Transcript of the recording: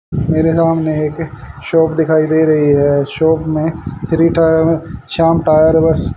मेरे सामने एक शॉप दिखाई दे रही है शॉप में श्री टायर शाम टायर बस--